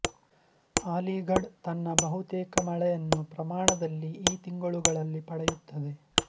ಆಲಿಘಢ್ ತನ್ನ ಬಹುತೇಕ ಮಳೆಯನ್ನು ಪ್ರಮಾಣದಲ್ಲಿ ಈ ತಿಂಗಳುಗಳಲ್ಲಿ ಪಡೆಯುತ್ತದೆ